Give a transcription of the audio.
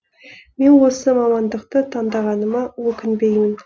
мен осы мамандықты таңдағаныма өкінбеймін